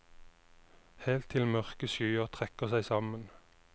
Helt til mørke skyer trekker seg sammen.